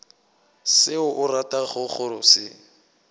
seo o ratago go se